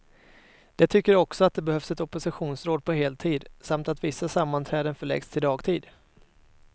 De tycker också att det behövs ett oppositionsråd på heltid, samt att vissa sammanträden förläggs till dagtid.